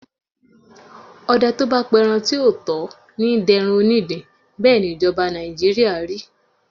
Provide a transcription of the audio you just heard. Ọdẹ tó bá pẹran tí ò tó ní dẹran onídin, bẹ́ẹ̀ ni ìjọba Nàìjíríà rí.